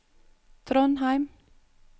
Trondheim